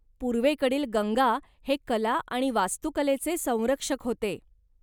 पूर्वेकडील गंगा हे कला आणि वास्तुकलेचे संरक्षक होते.